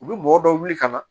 U bɛ mɔgɔ dɔ wuli ka na